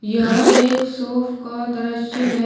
यह एक शॉफ का दृश्य है।